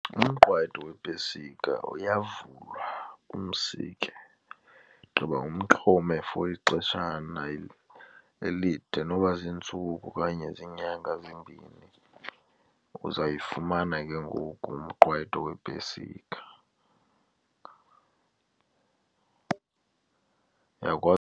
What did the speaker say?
Umqwayito weepesika uyavulwa, umsike, gqiba uxhome for ixeshana elide noba ziintsuku okanye ziinyanga ezimbini. Uzayifumana ke ngoku umqwayito weepesika.